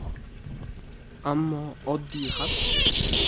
Ammo oddiy xalqchi?